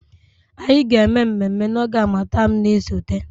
Anyị ga-eme mmemme na oge harmattan na-esote